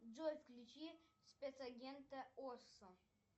джой включи спецагента оссо